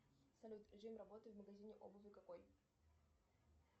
салют режим работы в магазине обуви какой